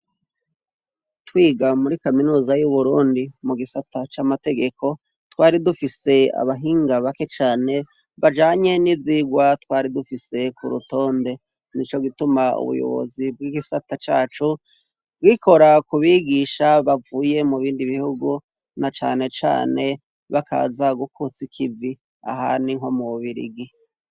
Twiga muri Kaminuza y'Uburundi mugisata camategeko twari dufise abahinga bake bazi ibijanye nivyirwa twari dufise kurutonde nico gituma ubuyobozi bwigisata cacu bwikora kubigisha bavuye mubindi bihugu na cane cane bakaza gukotsa ikivi ahandi nko mububirigi.